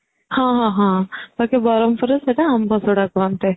ହଁ ହଁ ହଁ ବାକି ବ୍ରହ୍ମପୁର ରେ ସେଟା ଆମ୍ବ ଶଢା କୁହନ୍ତି